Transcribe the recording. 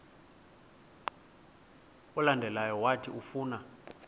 olandelayo owathi ufuna